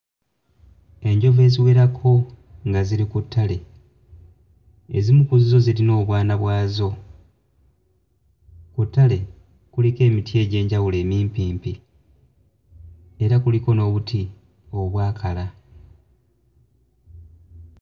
Enjovu eziwerako nga ziri ku ttale ezimu ku zzo zirina obwana bwazo ku ttale kuliko emiti egy'enjawulo emimpimpi era kuliko n'obuti obwakala.